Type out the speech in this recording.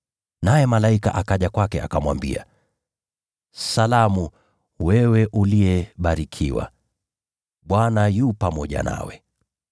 Naye malaika akaja kwake akamwambia: “Salamu, wewe uliyebarikiwa, Bwana yu pamoja nawe!”